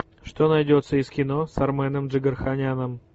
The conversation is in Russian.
что найдется из кино с арменом джигарханяном